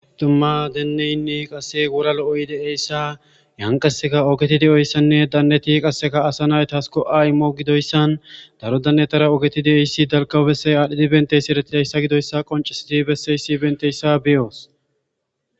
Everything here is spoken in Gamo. Dumma deenneynne qase wora lo'oy de7eyssa yan qaseka ogeti de7oyssanne danneti qasseka asa naytas ko'a immo gidoyssan daro dannetara ogeti de'eyssi dalkaw bessey adhdhidi benteysi eretidayssa gidoyssa qoncisidi besseyssi benteyssa beyoos.